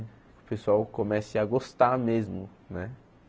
O pessoal comece a gostar mesmo, né?